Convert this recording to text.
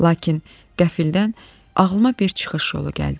Lakin qəfildən ağlıma bir çıxış yolu gəldi.